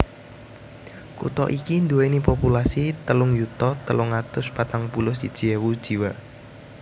Kutha iki nduwèni populasi telung yuta telung atus patang puluh siji ewu jiwa